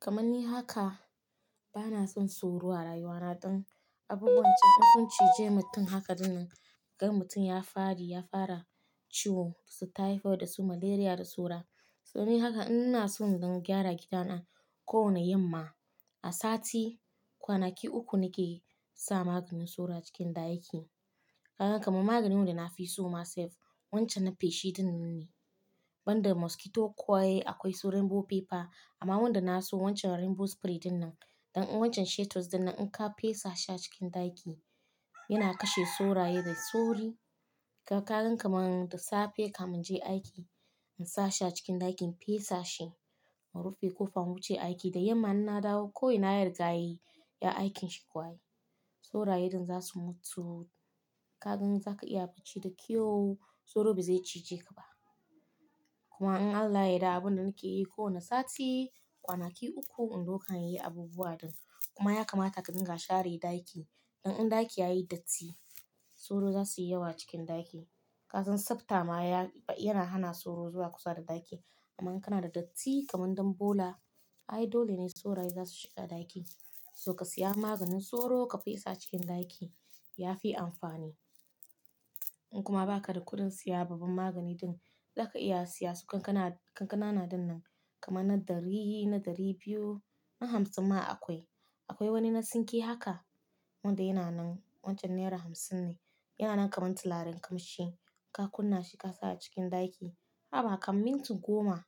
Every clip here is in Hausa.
Kamanni haka bana son soro a rayuwa na don abubuwa cikin sun cije mutum haka dinnan kai mutum ya fari ya fara ciwo su taifod su maleriya da sora So ni haka ina so don gyara gidan ɗa ko wane yamma a sati kwanaki uku nake sa maganin soro cikin ɗaki. Kaga kamar maganin da na fi so maserf wancan na peshi dinnan ne banda mosquito koi akwai su rainbow paper amma wanda na so wancan rainbow spray dinnan dan in wancan shetos dinnan in ka fesa sha cikin ɗaki yana kashe soraye da sori. Ka gan kamar da safe kamin je aiki in sa sha cikin ɗaki in fesa shi in rufe kofa in wuce aiki da yamma in na dawo ko ina ya rigaya ya yi aikin shi kwaye yadin za su mutu. Ka gani zaka iya barci da keo soro ba zai cije ka ba. Kuma in Allah ya yarda abun da nake yi kowane sati kwanaki uku in daukan yi abubuwa don kuma ya kamata ka dinga share ɗaki dan in ɗaki yayi datti soro za suyi yawa cikin ɗaki. Ka san tsafta ma yana hana sauro zuwa kusa da ɗaki amma kana da datti kamar don bola ai dole ne soro yadin za su shiga ɗaki. Zo ka siya maganin soro ka fesa cikin ɗaki ya fi amfani. In kuma ba ka da kuɗin siya abun magani din zaka iya siya su kankana kankana na dinnan kama na ɗari na ɗari biyu na hamsin ma akwai. Akwai wani na sunki haka wanda yana nan wancan nera hamsin ne yana nan kamar tularin kamshi ka kunna shi ka sa a cikin ɗaki. Haba kam mintin goma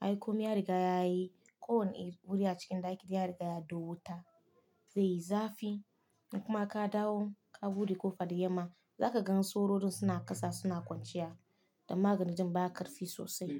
ai komi ya rigaya yi kowane wuri a cikin ɗaki zai rigaya da wuta zaiyi zafi in kuma ka dawo ka buɗe kofa da yamma zaka gan soro din suna kasa suna kwanciya da maganin din ba ka rufe sosai.